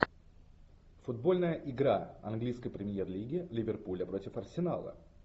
футбольная игра английской премьер лиги ливерпуля против арсенала